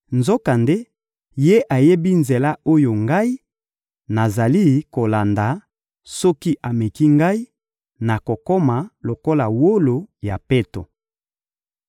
Nzokande, Ye ayebi nzela oyo ngai nazali kolanda; soki ameki ngai, nakokoma lokola wolo ya peto.